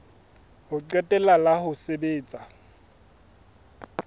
ho qetela la ho sebetsa